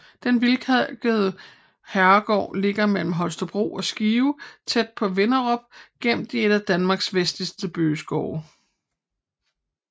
Den hvidkalkede herregård ligger mellem Holstebro og Skive tæt på Vinderup gemt i en af Danmarks vestligste bøgeskove